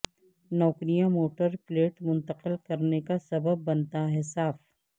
نوکریاں motor plate منتقل کرنے کا سبب بنتا ہے صاف